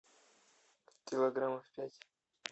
килограммов пять